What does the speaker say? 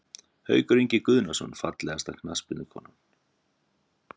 Haukur Ingi Guðnason Fallegasta knattspyrnukonan?